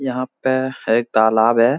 यहाँ पे है एक तालाब है।